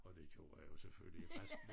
Og det gjorde jeg jo selvfølgelig resten